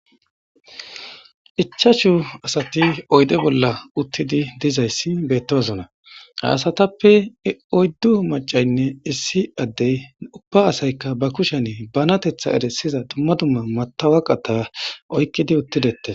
ichashu asati oyde bolla uttidi dizayssi bettosona haasatappe oyddu macaynne issi addey ubba asaykka ba kushen banatetha eresiza dumma dumma matawaqata oykkidi uttidesse